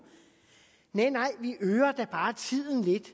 næh nej vi øger da bare tiden lidt